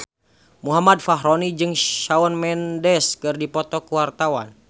Muhammad Fachroni jeung Shawn Mendes keur dipoto ku wartawan